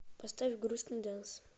поставь грустный дэнс